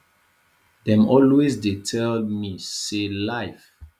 dem always dey tell me say life